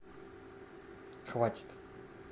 хватит